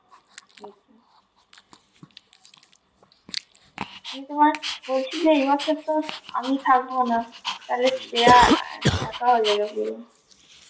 দেখি, আমি তোমায় বলছিলাম না এবছর তো আমি থাকবোনা তাহলে শ্রেয়া একা হয়ে যাবে পুরো